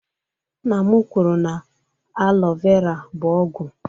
Nna m kwuru na alọ vera bụ ọgwụ